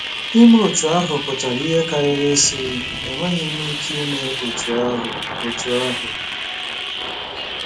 Ime otú ahụ pụtara ihe karịrị ịsị, " Enweghị m ike ime otú ahụ ." otú ahụ ."